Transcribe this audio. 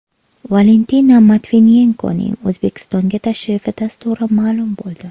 Valentina Matviyenkoning O‘zbekistonga tashrifi dasturi ma’lum bo‘ldi.